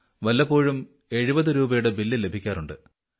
വല്ലപ്പോഴും 70 രൂപ യുടെ ബില്ല് ലഭിക്കാറുണ്ട്